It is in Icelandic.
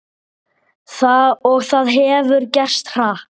Og það hefur gerst hratt.